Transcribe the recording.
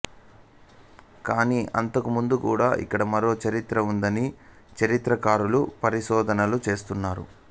కానీ అంతకుముందు కూడా ఇక్కడ మరో చరిత్ర ఉందని చరిత్రకారులు పరిశోధనలు చేస్తున్నారు